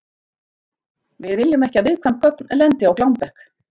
Við viljum ekki að viðkvæm gögn lendi á glámbekk.